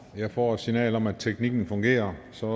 jeg får et signal om at teknikken fungerer så